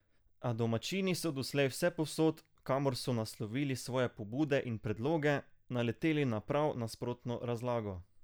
A domačini so doslej vsepovsod, kamor so naslovili svoje pobude in predloge, naleteli na prav nasprotno razlago.